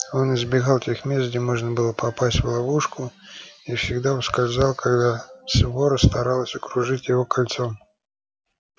он избегал тех мест где можно было попасть в ловушку и всегда ускользал когда свора старалась окружить его кольцом